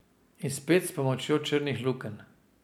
In spet s pomočjo črnih lukenj.